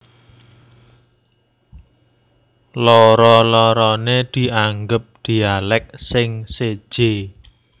Loro loroné dianggep dialèk sing séjé